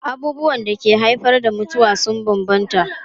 Abubuwan da ke haifar da mutuwa sun bambanta.